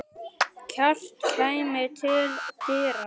Kjartan kæmi til dyra.